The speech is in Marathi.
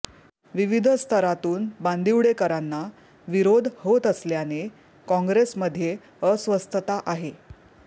विविध स्तरातून बांदिवडेकरांना विरोध होत असल्याने काँग्रेसमध्ये अस्वस्थता आहे